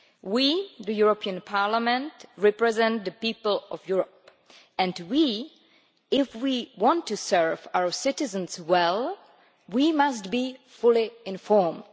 We, the European Parliament, represent the people of Europe, and if we want to serve our citizens well we must be fully informed.